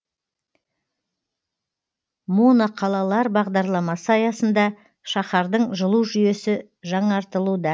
моноқалалар бағдарламасы аясында шаһардың жылу жүйесі жаңартылуда